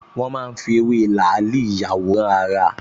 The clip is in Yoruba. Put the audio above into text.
Wọ́n máa ń fi ewé làálì ìyàwòrán-ara